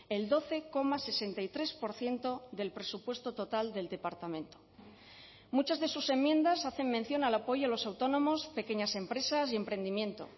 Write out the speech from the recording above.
el doce coma sesenta y tres por ciento del presupuesto total del departamento muchas de sus enmiendas hacen mención al apoyo a los autónomos pequeñas empresas y emprendimiento